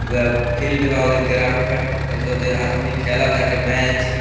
बा फील्ड बा उधर ग्राउंड बाटे फेर से उधर आदमी खेला ताटे मैच ।